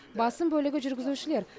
басым бөлігі жүргізушілер